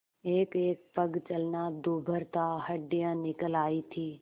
एकएक पग चलना दूभर था हड्डियाँ निकल आयी थीं